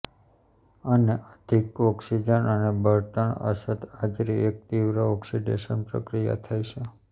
અને અધિક ઓક્સિજન અને બળતણ અછત હાજરી એક તીવ્ર ઓક્સિડેશન પ્રક્રિયા થાય છે